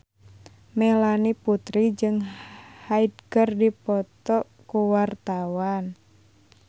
Melanie Putri jeung Hyde keur dipoto ku wartawan